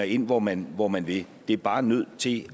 ind hvor man hvor man vil det er bare nødt til